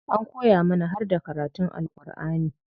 An koya mana harda karatun Alku'ani.